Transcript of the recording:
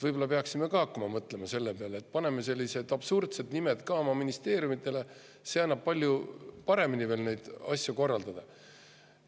Võib-olla peaksime ka hakkama mõtlema selle peale, et paneme oma ministeeriumidele sellised absurdsed nimed, sest see laseb veel palju paremini asju korraldada.